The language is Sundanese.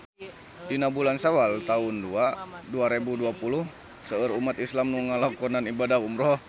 Dina bulan Sawal taun dua rebu dua puluh seueur umat islam nu ngalakonan ibadah umrah